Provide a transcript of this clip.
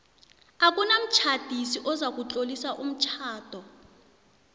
akunamtjhadisi ozakutlolisa umtjhado